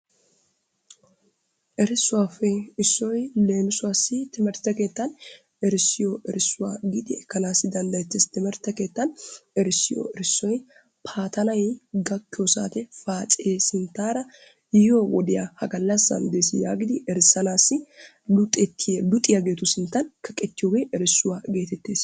Erissuwappe issoy leemissuwaassi timirtte keettan erissiyo erissuwaa giidi ekkanassi danddayeetees. Timirtte keettan erissiyo erissoy paatanay gakkiyo saatiyaan paace sinttaara yiyyo wodiyaa ha gallassan dees yaagidi erissanassi luxettiyaa luxiyaageetu sinttan kaqqetiyooge erissuwaa gettettees.